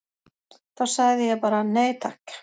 Þá sagði ég bara: Nei takk!